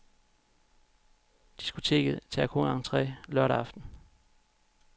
Diskoteket tager kun entre lørdag aften.